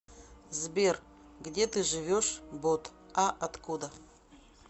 сбер где ты живешь бот а откуда